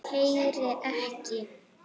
Heyri ekki.